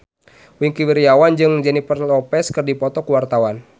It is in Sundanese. Wingky Wiryawan jeung Jennifer Lopez keur dipoto ku wartawan